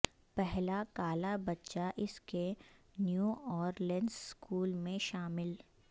پہلا کالا بچہ اس کے نیو اورلینز سکول میں شامل